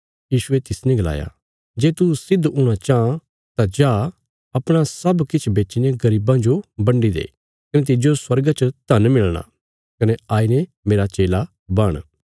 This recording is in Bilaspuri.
यीशुये तिसने गलाया जे तू सिद्ध हूणा चाँह तां जा अपणा सब किछ बेच्चीने गरीबां जो बंडी दे कने तिज्जो स्वर्गा च धन मिलणा कने आईने मेरा चेला बण